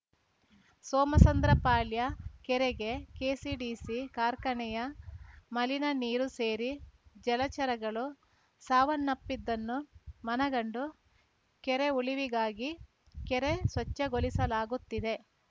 ಸೋಮಸಂದ್ರಪಾಳ್ಯ ಕೆರೆಗೆ ಕೆಸಿಡಿಸಿ ಕಾರ್ಖಾನೆಯ ಮಲಿನ ನೀರು ಸೇರಿ ಜಲಚರಗಳು ಸಾವನ್ನಪ್ಪಿದ್ದನ್ನು ಮನಗಂಡು ಕೆರೆ ಉಳಿಗಾಗಿ ಕೆರೆ ಸ್ವಚ್ಛಗೊಳಿಸಲಾಗುತ್ತಿದೆ